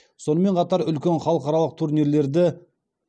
сонымен қатар үлкен халықаралық турнирлерді